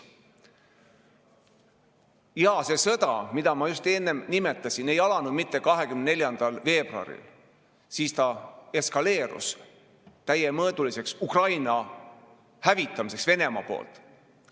Jaa, see sõda, mida ma nimetasin, ei alanud mitte 24. veebruaril – siis ta eskaleerus täiemõõduliseks Ukraina hävitamiseks Venemaa poolt.